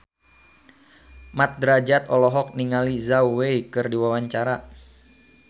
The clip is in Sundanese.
Mat Drajat olohok ningali Zhao Wei keur diwawancara